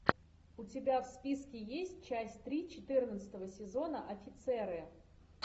у тебя в списке есть часть три четырнадцатого сезона офицеры